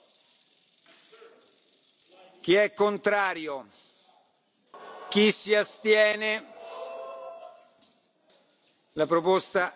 It is, and remains, a secret ballot and it would suit everybody to get this done speedily and efficiently.